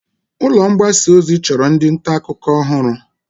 Ulọ mgbasa ozi chọrọ ndị nta akụkọ ọhụrụ.